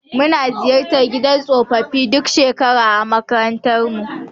Muna ziyartar gidan tsofaffi duk shekara a makarantarmu.